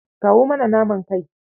Kawo mana naman kai.